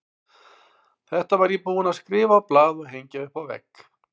Þetta var ég búinn að skrifa á blað og hengja upp á vegg.